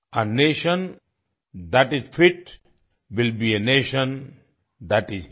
uh nation that is fit will be a nation that is हित